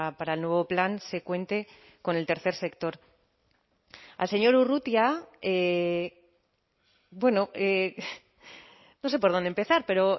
para el nuevo plan se cuente con el tercer sector al señor urrutia bueno no sé por dónde empezar pero